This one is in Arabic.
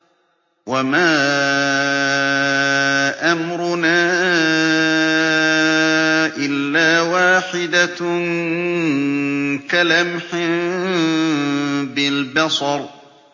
وَمَا أَمْرُنَا إِلَّا وَاحِدَةٌ كَلَمْحٍ بِالْبَصَرِ